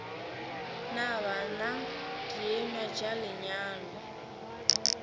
na bana dienywa tša lenyalo